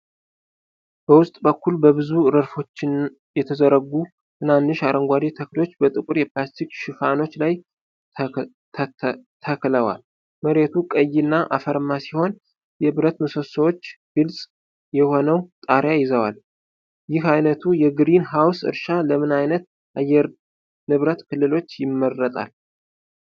በውስጥ በኩል፣ በብዙ ረድፎች የተዘረጉ ትናንሽ አረንጓዴ ተክሎች በጥቁር የፕላስቲክ ሽፋኖች ላይ ተክለዋል። መሬቱ ቀይና አፈርማ ሲሆን፣ የብረት ምሰሶዎች ግልጽ የሆነውን ጣሪያ ይዘዋል። ይህ ዓይነቱ የግሪን ሃውስ እርሻ ለምን ዓይነት የአየር ንብረት ክልሎች ይመረጣል?